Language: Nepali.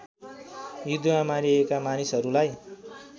युद्धमा मारिएका मानिसहरूलाई